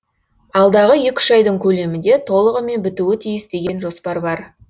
алдағы екі үш айдың көлемінде толығымен бітуі тиіс деген жоспар бар